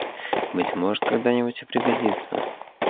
быть может когда-нибудь и пригодится